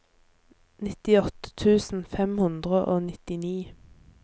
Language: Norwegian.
nittiåtte tusen fem hundre og nittini